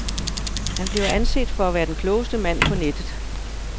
Han bliver anset for at være den klogeste mand på nettet.